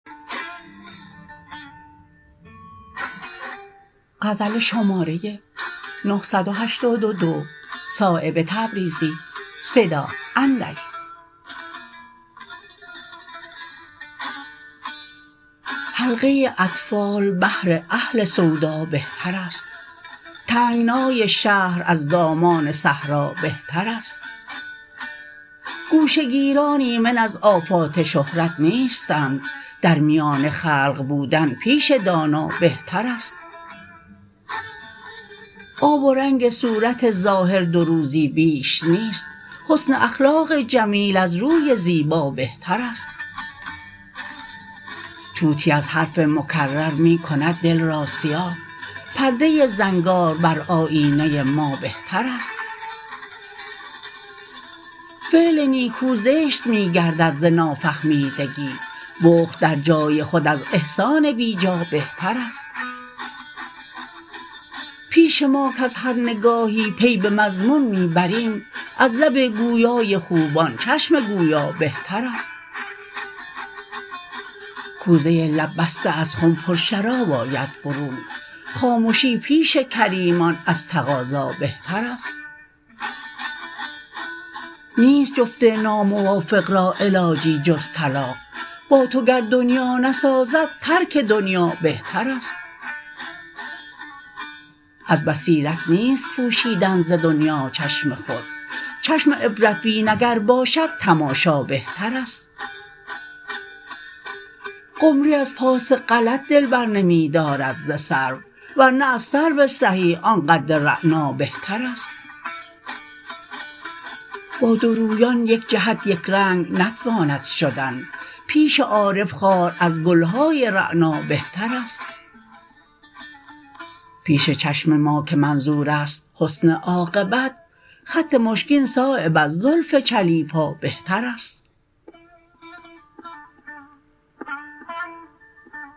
حلقه اطفال بهر اهل سودا بهترست تنگنای شهر از دامان صحرا بهترست گوشه گیران ایمن از آفات شهرت نیستند در میان خلق بودن پیش دانا بهترست آب و رنگ صورت ظاهر دو روزی بیش نیست حسن اخلاق جمیل از روی زیبا بهترست طوطی از حرف مکرر می کند دل را سیاه پرده زنگار بر آیینه ما بهترست فعل نیکو زشت می گردد ز نافهمیدگی بخل در جای خود از احسان بیجا بهترست پیش ما کز هر نگاهی پی به مضمون می بریم از لب گویای خوبان چشم گویا بهترست کوزه لب بسته از خم پر شراب آید برون خامشی پیش کریمان از تقاضا بهترست نیست جفت ناموافق را علاجی جز طلاق با تو گر دنیا نسازد ترک دنیا بهترست از بصیرت نیست پوشیدن ز دنیا چشم خود چشم عبرت بین اگر باشد تماشا بهترست قمری از پاس غلط دل برنمی دارد ز سرو ورنه از سرو سهی آن قد رعنا بهترست با دو رویان یک جهت یکرنگ نتواند شدن پیش عارف خار از گلهای رعنا بهترست پیش چشم ما که منظورست حسن عاقبت خط مشکین صایب از زلف چلیپا بهترست